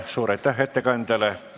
Suur aitäh ettekandjale!